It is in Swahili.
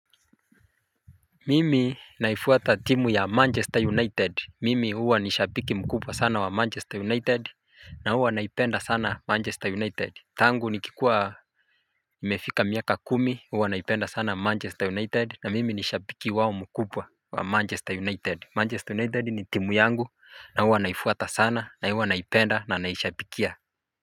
Mimi naifuata timu ya Manchester United. Mimi huwa nishapiki mkubwa sana wa Manchester United na huwa naipenda sana Manchester United tangu nikikua nimefika miaka kumi huwa naipenda sana Manchester United na mimi nishapiki wao mkubwa wa Manchester United.Manchester United ni timu yangu na huwa naifuata sana na huwa naipenda na naishapikia.